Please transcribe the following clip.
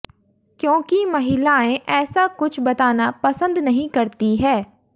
क्योंकि महिलाएं ऐसा कुछ बताना पसंद नहीं करती हैं